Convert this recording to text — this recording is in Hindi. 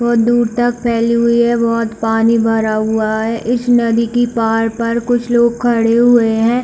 बहोत दूर तक फैली हुई है बहोत पानी भरा हुआ है इस नदी की पार पर कुछ लोग खड़े हुए है।